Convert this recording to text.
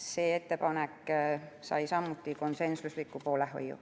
See ettepanek sai samuti konsensusliku poolehoiu.